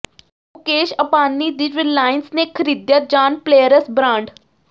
ਮੁਕੇਸ਼ ਅੰਬਾਨੀ ਦੀ ਰਿਲਾਇੰਸ ਨੇ ਖਰੀਦਿਆ ਜਾਨ ਪਲੇਅਰਸ ਬਰਾਂਡ